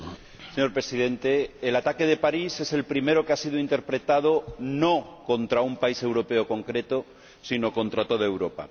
Señor Presidente, el ataque de París es el primero que ha sido interpretado no como contra un país europeo concreto, sino como contra toda Europa.